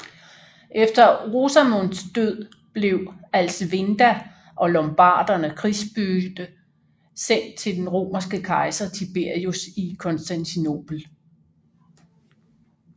Efter Rosamonds død blev Alsvinda og lombarderne krigsbytte sendt til den romerske kejser Tiberius i Konstantinopel